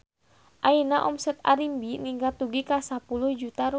Ayeuna omset Arimbi ningkat dugi ka 10 juta rupiah